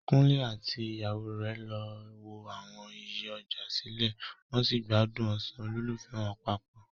Kunle àti ìyàwó rẹ̀ lọ wo àwọn iye ọjà sílẹ̀, wọn sì ń gbádùn ọ̀sán olólùfẹ́ wọn papọ.